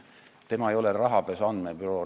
FI ei ole rahapesu andmebüroo.